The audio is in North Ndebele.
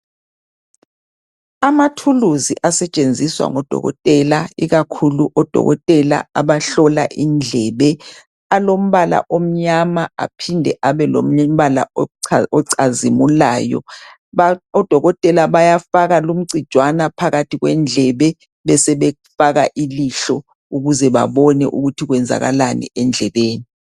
Amathuluzi asetshenziswa ngodokotela ikakhulu odokotela abahlola indlebe ,alombala omnyama aphinde abe lombala ocazimulayo, odokotela bayafaka lumcijwana phakathi kwendlebe besebefaka ilihlo ukuze babone ukuthi kwenzakalani endlebeni.